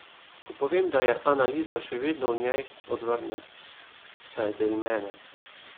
Ko povem, da je Ana Liza še vedno v njej, odvrne: 'Saj je del mene.